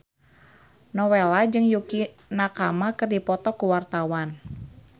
Nowela jeung Yukie Nakama keur dipoto ku wartawan